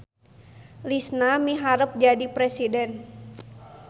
Lisna miharep jadi presiden